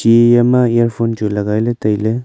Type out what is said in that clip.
eya ma earphone chu logai le tailey.